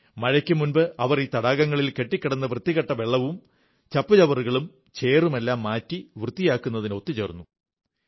മഴയ്ക്കു മുമ്പ് അവർ ഈ തടാകങ്ങളിൽ നിന്ന് കെട്ടിക്കിടന്ന വൃത്തികെട്ട വെള്ളവും ചച്ചുചവറുകളും ചേറുമെല്ലാം മാറ്റി വൃത്തിയാക്കുന്നതിന് ഒത്തു ചേർന്നു